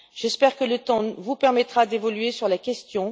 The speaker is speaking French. J'espère que le temps vous permettra d'évoluer sur la question.